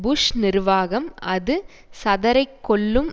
push நிர்வாகம் அது சதரைக் கொல்லும்